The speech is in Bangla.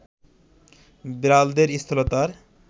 বিড়ালদের স্থূলতার